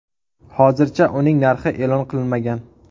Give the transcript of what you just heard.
Hozircha uning narxi e’lon qilinmagan.